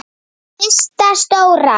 Systa stóra!